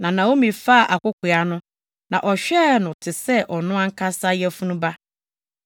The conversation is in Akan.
Na Naomi faa akokoaa no, na ɔhwɛɛ no te sɛ ɔno ankasa yafunu ba.